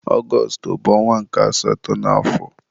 Ọgọstụ bụ ọnwa nke asatọ n'afọ.